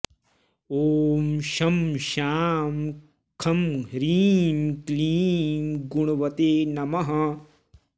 ॐ शं शां षं ह्रीं क्लीं गुणवते नमः